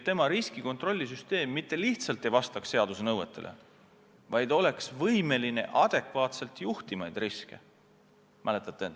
Ja riskikontrollisüsteem mitte lihtsalt ei pea vastama seaduse nõuetele, vaid olema võimeline adekvaatselt riske juhtima.